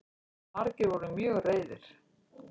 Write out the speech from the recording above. Margir voru mjög reiðir